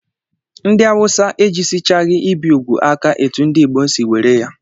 Ndị awụsa ejisichaghị ibi úgwù aka etu ndị Igbo si were ya